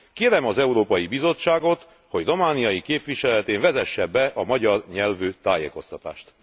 Kérem az Európai Bizottságot, hogy romániai képviseletén vezesse be a magyar nyelvű tájékoztatást!